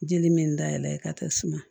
Jeli me n da yɛlɛ ka taa suma